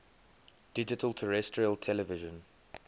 digital terrestrial television